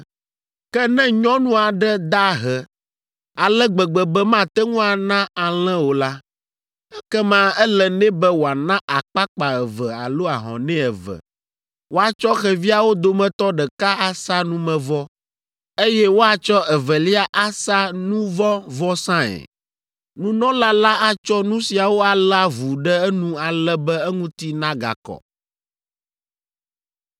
Ke ne nyɔnu aɖe da ahe ale gbegbe be mate ŋu ana alẽ o la, ekema ele nɛ be wòana akpakpa eve alo ahɔnɛ eve. Woatsɔ xeviawo dometɔ ɖeka asa numevɔ, eye woatsɔ evelia asa nu vɔ̃ vɔsae. Nunɔla la atsɔ nu siawo alé avu ɖe enu ale be eŋuti nagakɔ.’ ”